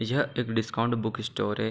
यह एक discount book store है।